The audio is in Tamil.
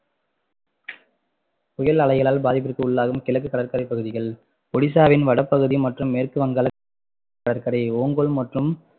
புயல் அலைகளால் பாதிப்பிற்கு உள்ளாகும் கிழக்கு கடற்கரை பகுதிகள் ஓடிசாவின் வடபகுதி மற்றும் மேற்கு வங்காளத்தின் கடற்கரை ஓங்கோல் மற்றும்